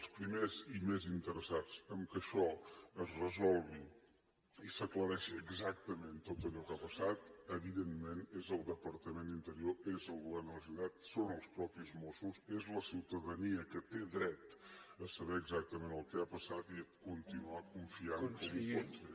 els primers i més interessats que això es resolgui i s’aclareixi exactament tot allò que ha passat evidentment és el departament d’interior és el govern de la generalitat són els mateixos mossos és la ciutadania que té dret a saber exactament què ha passat i a continuar confiant com ho pot fer